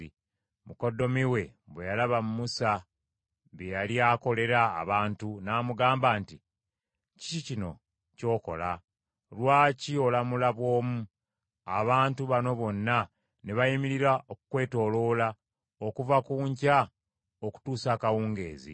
Mukoddomi we bwe yalaba Musa bye yali akolera abantu, n’amugamba nti, “Kiki kino ky’okola? Lwaki olamula bw’omu, abantu bano bonna ne bayimirira okukwetooloola okuva ku nkya okutuusa akawungeezi?”